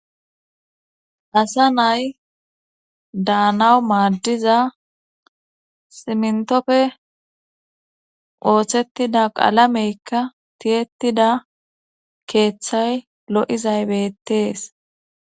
Asa nay daanawu maaddiza simntopfe ooththettida qalameykka tiyettida keeththay lo7izaybettees